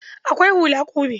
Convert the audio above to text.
Akwai hula ƙube.